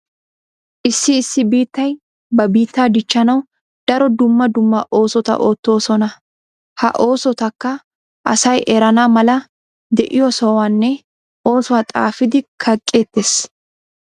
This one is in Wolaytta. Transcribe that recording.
Issi issi biittay ba biittaa dichchanawu daro dumma dumma oosota oottoosona. Ha oosotakka asay erana mala de'iyo sohuwanne oosuwa xaafidi kaqqeettees.